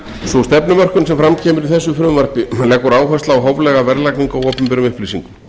sú stefnumörkun sem fram kemur í þessu frumvarpi leggur áherslu á hóflega verðlagningu á opinberum upplýsingum